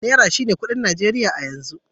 Naira shine kuɗin Najeriya a yanzu.